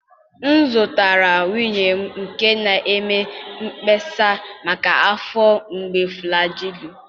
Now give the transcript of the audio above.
M zụtara nwunye m nke na-eme mkpesa maka afọ mgbu Flajịlụ